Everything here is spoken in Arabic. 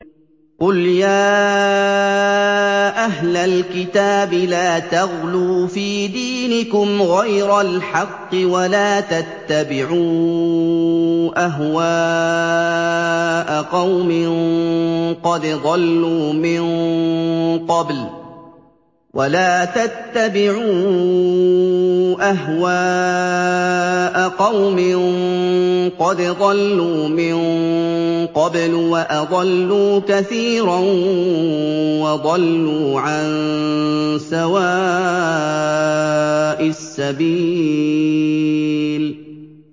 قُلْ يَا أَهْلَ الْكِتَابِ لَا تَغْلُوا فِي دِينِكُمْ غَيْرَ الْحَقِّ وَلَا تَتَّبِعُوا أَهْوَاءَ قَوْمٍ قَدْ ضَلُّوا مِن قَبْلُ وَأَضَلُّوا كَثِيرًا وَضَلُّوا عَن سَوَاءِ السَّبِيلِ